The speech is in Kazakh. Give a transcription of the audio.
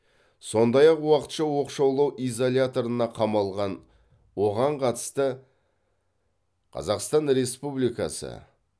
сондай ақ уақытша оқшаулау изоляторына қамалған оған қатысты қазақстан республикасы